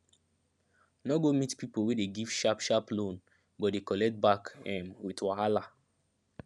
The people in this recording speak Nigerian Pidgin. no go meet people wey dey give sharp sharp loan but dey collect back um with wahala